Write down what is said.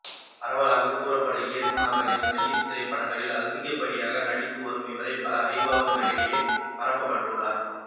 பரவலாக குறும்பட இயக்குனர்களின் வெள்ளித்திரை படங்களில் அதிகபடியாக நடித்து வரும் இவரை பல ஜாம்பவான்களிடையே பாராட்டப்பெற்றுள்ளார்